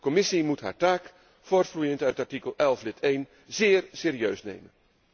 De Commissie moet haar taak voortvloeiend uit artikel 11, lid 1, zeer serieus nemen.